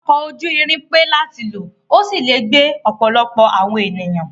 Ọkọ̀ ojú irin pé láti lò, ó sì lè gbé ọ̀pọ̀lọpọ̀ àwọn ènìyàn.